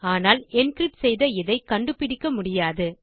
ஆனால் என்கிரிப்ட் செய்த இதை கண்டுபிடிக்க முடியாது